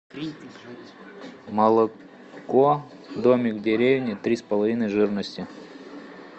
молоко домик в деревне три с половиной жирности